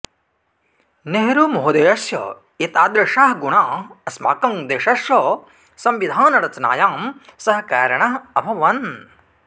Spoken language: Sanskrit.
नेहरुमहोदयस्य एतादृशाः गुणाः अस्माकं देशस्य संविधानरचनायां सहकरिणः अभवन्